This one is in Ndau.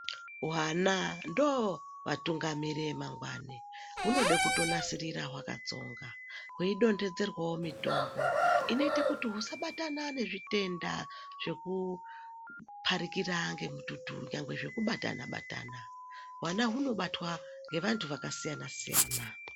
Hwana ndo vatungamiriri emangwani hunode kuto nasirira hwaka tsonga hwei dondedzerwawo mitombo inoite kuti husa batana ne zvitenda zveku parikira ne mututu nyangwe zveku batana batana hwana huno batwa nge vantu vaka siyana siyana.